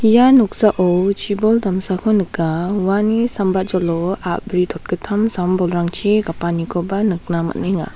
ia noksao chibol damsako nika uani sambajolo a·bri totgittam sam-bolrangchi gapanikoba nikna man·enga.